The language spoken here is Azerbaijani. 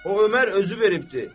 O Ömər özü veribdir.